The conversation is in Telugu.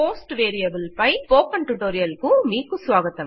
పోస్ట్ వేరియబుల్ పై స్పోకెన్ టుటోరియల్ కు మీకు స్వాగతం